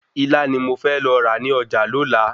Ilá ni mo fẹ́ lọ rà ní ọjà lola